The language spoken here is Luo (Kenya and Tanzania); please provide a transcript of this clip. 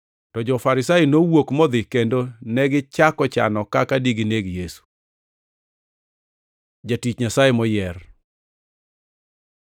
To jo-Farisai nowuok modhi kendo negichako chano kaka digineg Yesu. Jatich Nyasaye moyier